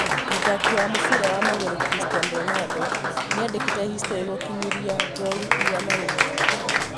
Mũthaki wa mũbĩra wa magũrũ Christinan Ronaldo nĩandĩkĩte historĩ gũkinyĩria ngolu igana rĩmwe